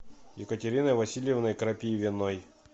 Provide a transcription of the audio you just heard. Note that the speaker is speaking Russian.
екатериной васильевной крапивиной